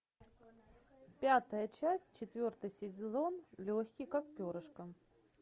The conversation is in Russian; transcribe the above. пятая часть четвертый сезон легкий как перышко